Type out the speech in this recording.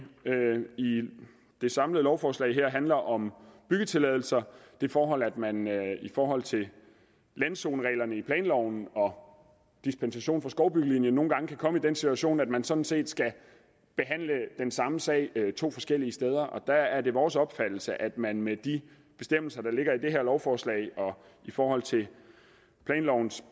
det samlede lovforslag her handler om byggetilladelser det forhold at man i forhold til landzonereglerne i planloven og dispensation fra skovbyggelinjen nogle gange kan komme i den situation at man sådan set skal behandle den samme sag to forskellige steder der er det vores opfattelse at man med de bestemmelser der ligger i det her lovforslag og i forhold til planlovens